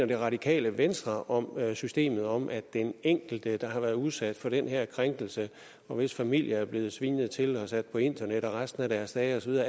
det radikale venstre om systemet om at den enkelte der har været udsat for den her krænkelse og hvis familie er blevet svinet til og sat på internettet resten af deres dage